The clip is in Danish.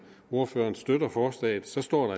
ordføreren støtter forslaget står